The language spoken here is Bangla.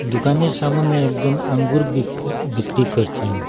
দুকানের সামোনে একজন আঙ্গুর বিক বিক্রি করছেন।